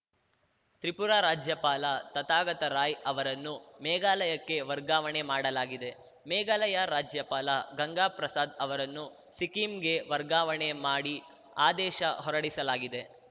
ತ್ರಿಪುರಾ ರಾಜ್ಯಪಾಲ ತಥಾಗತ ರಾಯ್‌ ಅವರನ್ನು ಮೇಘಾಲಯಕ್ಕೆ ವರ್ಗಾವಣೆ ಮಾಡಲಾಗಿದೆ ಮೇಘಾಲಯ ರಾಜ್ಯಪಾಲ ಗಂಗಾ ಪ್ರಸಾದ್‌ ಅವರನ್ನು ಸಿಕ್ಕಿಂಗೆ ವರ್ಗಾವಣೆ ಮಾಡಿ ಆದೇಶ ಹೊರಡಿಸಲಾಗಿದೆ